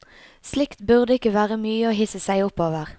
Slikt burde ikke være mye å hisse seg opp over.